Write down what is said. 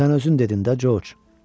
Sən özün dedin də, Corc.